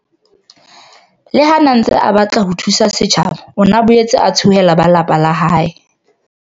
Le ha a ne a ntse a batla ho thusa setjhaba, o ne a boetse a tshohela ba lelapa la hae.